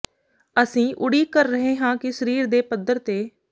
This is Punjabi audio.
ਅਸੀਂ ਉਡੀਕ ਕਰ ਰਹੇ ਹਾਂ ਕਿ ਸਰੀਰ ਦੇ ਪੱਧਰ ਤੇ